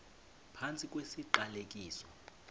phantsi kwesi siqalekiso